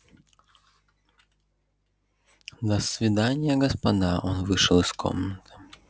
до свидания господа он вышел из комнаты